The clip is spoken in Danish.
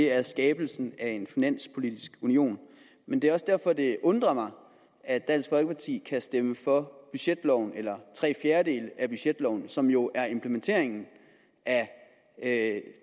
er skabelsen af en finanspolitisk union men det er også derfor at det undrer mig at dansk folkeparti kan stemme for budgetloven eller tre fjerdedele af budgetloven som jo er implementeringen af